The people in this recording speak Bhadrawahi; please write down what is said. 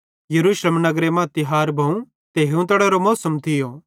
यरूशलेम नगरे मां तिहार भोवं ते हीवतड़ेरो मौसम थियो